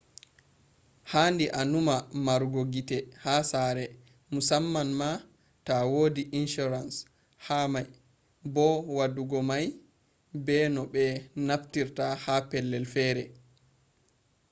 haandi a nuuma maarugo gite ha sare mussamam ma ta wodi insurance hado mai bo waddugo mai be no be naftirta ha pellel fere